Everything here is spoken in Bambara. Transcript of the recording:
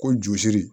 Ko josiri